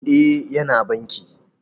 E, Yana banki